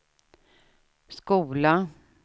skola